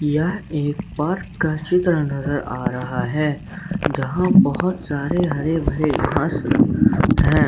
यह एक पार्क का चित्र नजर आ रहा है जहां बहोत सारे हरे भरे घास हैं।